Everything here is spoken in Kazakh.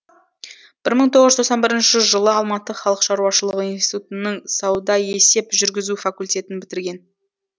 бір мың тоғыз жүз тоқсан бірінші жылы алматы халық шаруашылығы институтынын саудаесеп жүргізу факультетін бітірген